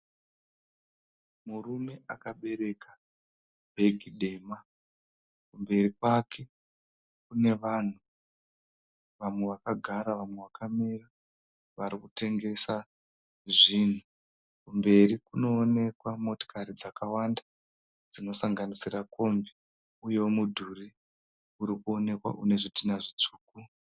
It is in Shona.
Murume akabereka bhegi dema. Kumberi kwake kune vanhu vamwe vakagara vamwe vakamira varikutengesa zvinhu. Kumberi kunoonekwa motokari dzakawanda dzinosanganisira kombi uyewo mudhuri urikuwonekwa une zvitinha zvitsvuku.